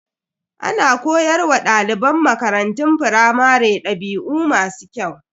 Ana koyar wa daliban makarantun firamare dabi'u masu kyau.